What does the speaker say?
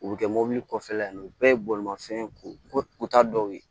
U bɛ kɛ mobili kɔfɛla ye o bɛɛ ye bolimafɛn ko ta dɔw ye